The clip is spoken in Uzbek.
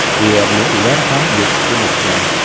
Deyarli ular ham yetib kelishgan.